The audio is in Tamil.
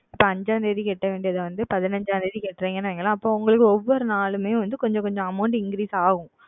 இப்பொழுது ஐந்தாம் தேதி செலுத்த வேண்டியது வந்து பதினைந்தாம் தேதி செலுத்துகிறீர்கள் என்று வைத்து கொள்ளுங்கள் அப்பொழுது உங்களுக்கு ஒவ்வொரு நாளுமே வந்து கொஞ்சம் கொஞ்சம் AmountIncrease ஆகும்